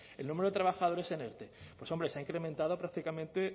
el número de trabajadores en erte pues hombre se ha incrementado prácticamente